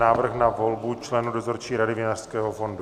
Návrh na volbu členů Dozorčí rady Vinařského fondu